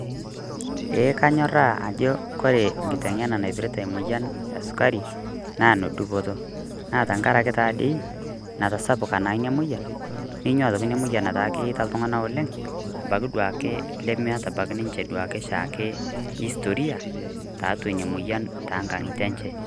Eeeh kanyorraa ajo ore kiteng'ena naipirrta emoyian esukari naa nodupoto, naa tang'araki taa dei natasapuka naa nia moyian nenua atoki nia moyian ataa keeta iltung'ana oleng abaki duake lemeeta abaki ninchee duake shaake historia taatua nia moyian te ng'anyitee enchee.